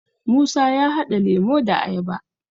musa ya hada lemo da ayaba